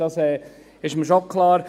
das ist mir nämlich schon klar.